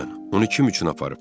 Onu kim üçün aparıb?